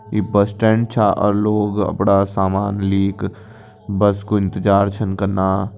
ईं bus stand छ अर लोग अपड़ा सामान लीक बस कू इंतजार छन कना।